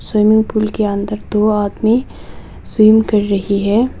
Swimming pool के अंदर दो आदमी स्विम कर रही है।